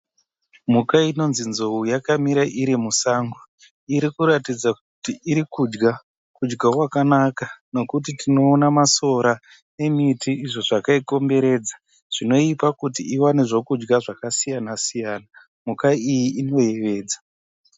Mhuka inonzi nzou yakamira iri musango. Iri kuratidza kuti iri kudya kudya kwakanaka nokuti tinoona masora nemiti izvo zvakaikomberedza zvinoipa kuti iwane zvokudya zvakasiyana siyana. Mhuka iyi inoyevedza.